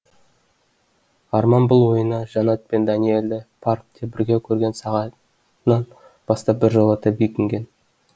арман бұл ойына жаннат пен дәниелді паркте бірге көрген сағатынан бастап біржолата бекінген